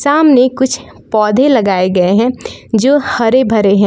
सामने ने कुछ पौधे लगाए गए हैं जो हरे भरे हैं।